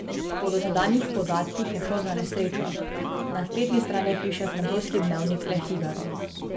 Po dosedanjih podatkih je šlo za nesrečo, na spletni strani piše francoski dnevnik Le Figaro.